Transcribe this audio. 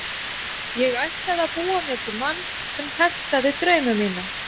Ég ætlaði að búa mér til mann sem hentaði draumum mínum.